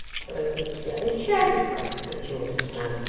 произнести они с челябинска дрочила кун знает